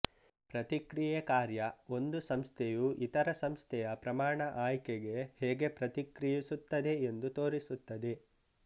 ಪ್ರತಿಕ್ರಿಯೆ ಕಾರ್ಯ ಒಂದು ಸಂಸ್ಥೆಯು ಇತರ ಸಂಸ್ಥೆಯ ಪ್ರಮಾಣ ಆಯ್ಕೆಗೆ ಹೇಗೆ ಪ್ರತಿಕ್ರಿಯಿಸುತ್ತದೆ ಎಂದು ತೋರಿಸುತ್ತದೆ